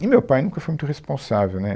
E meu pai nunca foi muito responsável, né?